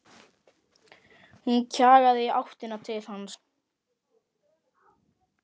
Hún kjagaði í áttina til hans.